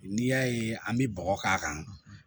N'i y'a ye an bɛ bɔgɔ k'a kan